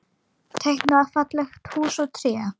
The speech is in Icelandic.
Teiknað falleg hús og tré.